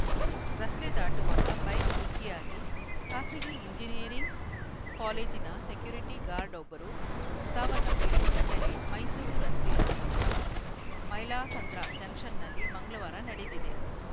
ರಸ್ತೆ ದಾಟುವಾಗ ಬೈಕ್‌ ಡಿಕ್ಕಿಯಾಗಿ ಖಾಸಗಿ ಎಂಜಿನಿಯರಿಂಗ್‌ ಕಾಲೇಜಿನ ಸೆಕ್ಯುರಿಟಿ ಗಾರ್ಡ್‌ವೊಬ್ಬರು ಸಾವನ್ನಪ್ಪಿರುವ ಘಟನೆ ಮೈಸೂರು ರಸ್ತೆಯ ಮೈಲಾಸಂದ್ರ ಜಂಕ್ಷನ್‌ನಲ್ಲಿ ಮಂಗಳವಾರ ನಡೆದಿದೆ